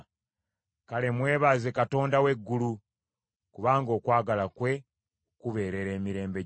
Kale mwebaze Katonda w’eggulu, kubanga okwagala kwe kubeerera emirembe gyonna.